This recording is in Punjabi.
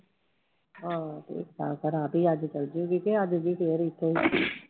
ਹਾਂ ਠੀਕ ਠਾਕ ਆ, ਰਾਵੀ ਅੱਜ ਚਲੇ ਜਾਊਗੀ ਕਿ ਆ ਜਾਊਗੀ ਫਿਰ ਇੱਥੇ ਹੀ